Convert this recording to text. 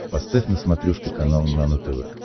поставь на смотрешке канал нано тв